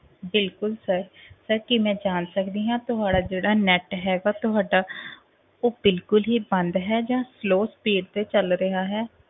ਬਿਲਕੁਲ sir sir ਕੀ ਮੈਂ ਜਾਣ ਸਕਦੀ ਆ ਜਿਹੜਾ ਤੁਹਾਡਾ ਜਿਹੜਾ net ਹੈਗਾ ਤੁਹਾਡਾ ਉਹ ਬਿਲਕੁਲ ਹੀ ਬੰਦ ਹੈ ਜਾਂ slow speed ਤੇ ਚੱਲ ਰਿਹਾ ਹੈ।